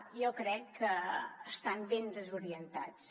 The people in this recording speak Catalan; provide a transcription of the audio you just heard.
jo crec que estan ben desorientats